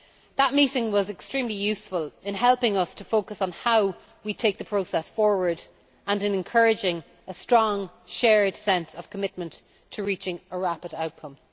That meeting was extremely useful in helping us to focus on how we take the process forward and in encouraging a strong shared sense of commitment to reaching a rapid outcome.